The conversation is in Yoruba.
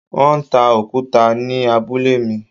Wọ́n ń ta òkúta ni abúlé mi.